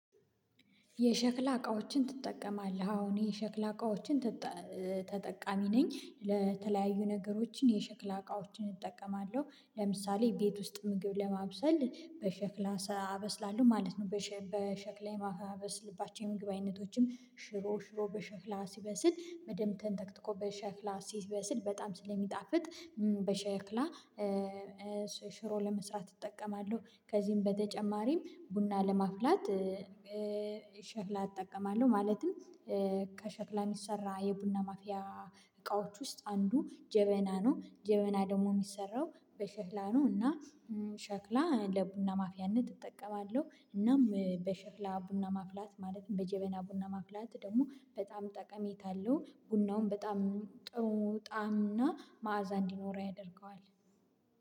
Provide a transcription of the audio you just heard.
የሸክላ እቃዎችን ትጠቀማለህ አሁን የሸክላ እቃዎችን ትጠ ተጠቃሚ ነኝ። ለተለያዩ ነገሮችን የሸክላ እቃዎችን እጠቀማለሁ ለምሳሌ ቤት ውስጥ ምግብ ለማብሰል በሸክላ አበስላለሁ ማለት ነው። በሸክላ የማበስልባቸው የምግብ አይነቶችም ሽሮ ሽሮ በሸክላ ሲበስል በደንብ ተንተክትኮ በሸክላ ሲበስል በጣም ስለሚጣፍጥ በሸክላ ሽሮ ለመስራት እጠቀማለሁ። ከዚህም በተጨማሪም ቡና ለማፍላት ሸክላ እጠቀማለሁ። ማለትም ከሸክላ የሚሰራ የቡና ማፊያ እቃዎች ውስጥ አንዱ ጀበና ነው። ጀበና ደግሞ የሚሰራው በሸክላ ነው። እና ሸክላ ለቡና ማፊያነት እጠቀማለሁ እናም በሽክላ ቡና ማፍላት ማለትም በጀበና ቡና ማፍላት ደግሞ በጣም ጠቀሜታ አለው። ቡናውን በጣም ጥሙ ጣዕም እና መዓዛ እንዲኖረው ያደርገዋል